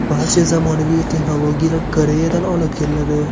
Barcha zamonaviy texnologiyalar Koreyadan olib kelinadi.